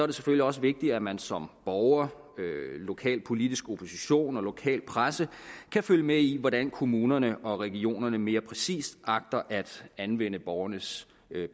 det selvfølgelig også vigtigt at man som borger lokalpolitisk opposition og lokal presse kan følge med i hvordan kommunerne og regionerne mere præcis agter at anvende borgernes